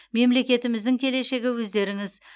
мемлекетіміздің келешегі өздеріңіз